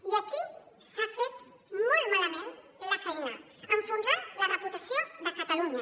i aquí s’ha fet molt malament la feina enfonsant la reputació de catalunya